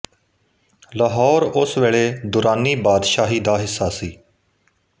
ਲਹੌਰ ਉਸ ਵੇਲੇ ਦੁਰਾਨੀ ਬਾਦਸ਼ਾਹੀ ਦਾ ਹਿੱਸਾ ਸੀ